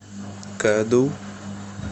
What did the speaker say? ка ду